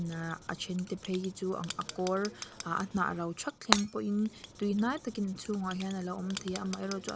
nahh a ṭhente phei hi chu a a kâwr ah a hnah ro ṭhak thleng pawhin tuihnai takin a chhûngah hian a lo awm thei a amaherawhchu--